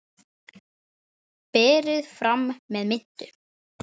Mamma mín var falleg.